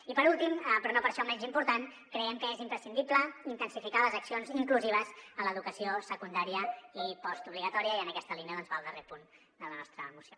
i per últim però no per això menys important creiem que és imprescindible intensificar les accions inclusives en l’educació secundària i postobligatòria i en aquesta línia doncs va el darrer punt de la nostra moció